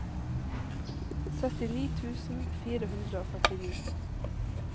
syttini tusen fire hundre og førtini